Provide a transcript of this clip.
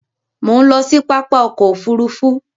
Mo ń lọ sí pápá ọkọ òfúrúúfú